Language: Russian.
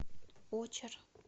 очер